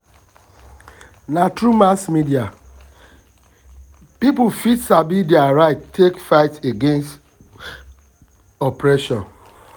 na through na through mass media people fit sabi their rights take fight against oppression.